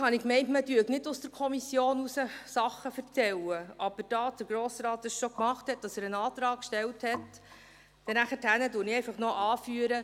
Eigentlich dachte ich, man würde aus der Kommission heraus keine Sachen erzählen, aber da der Grossrat dies schon gemacht und gesagt hat, dass er einen Antrag gestellt hat, füge ich noch an: